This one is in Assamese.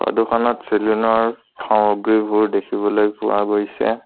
ফটো খনত চেলুন ৰ সামগ্ৰীবোৰ দেখিবলৈ পোৱা গৈছে।